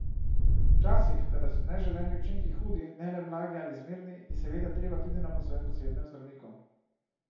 Včasih, kadar so neželeni učinki hudi, ne le blagi ali zmerni, je, seveda, treba tudi na posvet k osebnemu zdravniku.